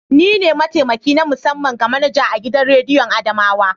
Ni ne mataimaki na musamman ga manaja a gidan rediyon adamawa.